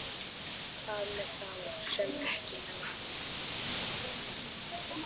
Hvað með þá sem ekki ná því?